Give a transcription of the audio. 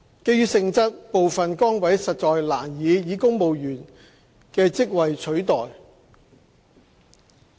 基於性質，部分崗位實難以公務員職位取代。